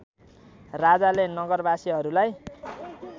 राजाले नगरवासीहरूलाई